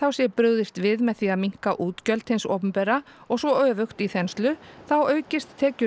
sé brugðist við með því að minnka útgjöld hins opinbera og svo öfugt í þenslu þá aukist tekjur